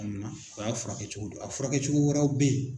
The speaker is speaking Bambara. amuna o y'a furakɛcogo dɔ ye a furakɛcogo wɛrɛw bɛ yen.